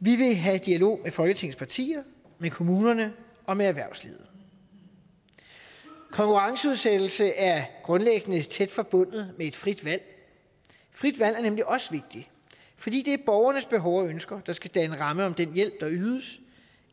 vi vil have dialog med folketingets partier med kommunerne og med erhvervslivet konkurrenceudsættelse er grundlæggende tæt forbundet med et frit valg frit valg er nemlig også vigtigt fordi det er borgernes behov og ønsker der skal danne ramme om den hjælp der ydes